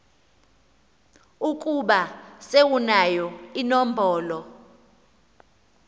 ukuba sewunayo inombolo